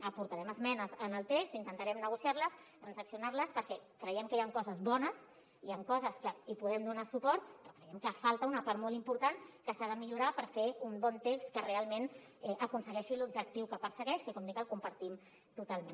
aportarem esmenes en el text intentarem negociar les transaccionar les perquè creiem que hi han coses bones hi han coses que hi podem donar suport però creiem que hi falta una part molt important que s’ha de millorar per fer un bon text que realment aconsegueixi l’objectiu que persegueix que com dic el compartim totalment